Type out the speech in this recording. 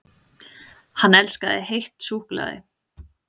HANN ELSKAÐI HEITT SÚKKULAÐI!